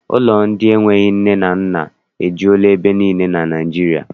Ụlọ ndị enweghị nne na nna ejula ebe niile na Naịjirịa.